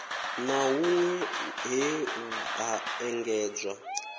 na hunwe he ha engedzwa